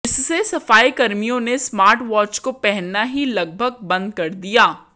जिससे सफाईकर्मियों ने स्मार्ट वॉच को पहनना ही लगभग बंद कर दिया